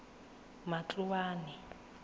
matloane